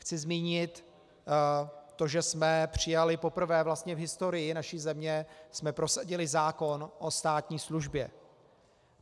Chci zmínit to, že jsme přijali, poprvé vlastně v historii naší země jsme prosadili zákon o státní službě.